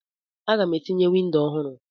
Aga m etinye windo ọhụrụ.